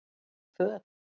Artí föt